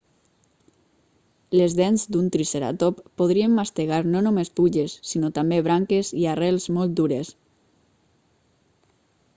les dents d'un triceratop podrien mastegar no només fulles sinó també branques i arrels molt dures